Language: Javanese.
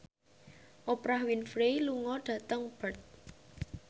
Oprah Winfrey lunga dhateng Perth